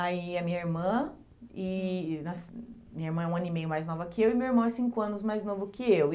Aí é minha irmã, e minha irmã é um ano e meio mais nova que eu e meu irmão é cinco anos mais novo que eu.